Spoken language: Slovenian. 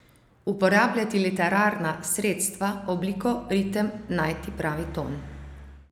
Uporabljati literarna sredstva, obliko, ritem, najti pravi ton ...